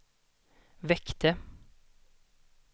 väckte